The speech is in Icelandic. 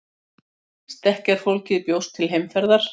Stekkjarfólkið bjóst til heimferðar.